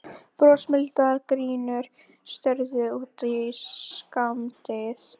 Brosmildar gínur störðu út í skammdegið.